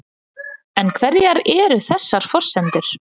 En hverjar eru þessar forsendur?